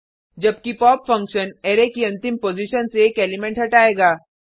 जबकि pop function array की अंतिम पॉजिशन से एक एलिमेंट हटायेगा